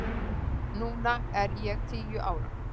Núna er ég tíu ára.